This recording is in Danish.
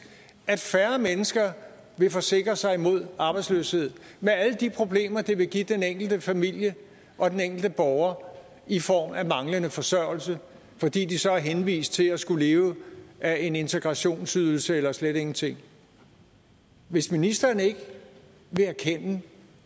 at færre mennesker vil forsikre sig imod arbejdsløshed med alle de problemer det vil give den enkelte familie og den enkelte borger i form af manglende forsørgelse fordi de så er henvist til at skulle leve af en integrationsydelse eller slet ingenting hvis ministeren ikke vil erkende